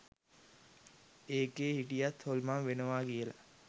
ඒකේ හිටියත් හොල්මන් වෙනවා කියල